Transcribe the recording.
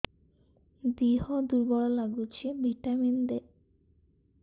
ଦିହ ଦୁର୍ବଳ ଲାଗୁଛି ଭିଟାମିନ ଦେ